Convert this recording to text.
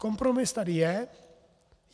Kompromis tady je.